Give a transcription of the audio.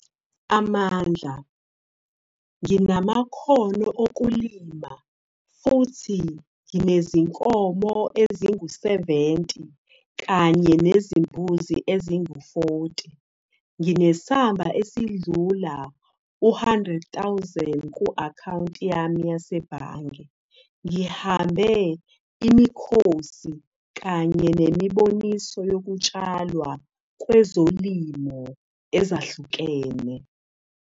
Amandla- Nginamakhono okulima futhi nginezinkomo ezingu-70 kanye nezimbuzi ezingu-40. Nginesamba esidlula u-R100 000.00 ku-akhawunti yami yasebhange. Ngihambe imikhosi kanye nemiboniso yokutshalwa kwezolimo ezahlukene.